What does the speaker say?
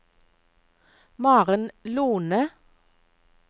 Maren Lohne